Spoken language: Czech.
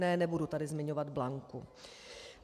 Ne, nebudu tady zmiňovat Blanku.